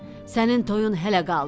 Sənin toyun hələ qaldı.